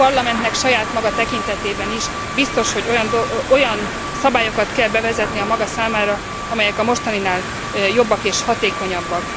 A Parlamentnek saját maga tekintetében is biztos, hogy olyan szabályokat kell bevezetnie a maga számára, amelyek a mostaninál jobbak és hatékonyabbak.